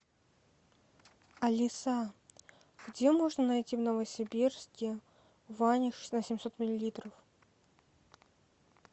алиса где можно найти в новосибирске ваниш на семьсот миллилитров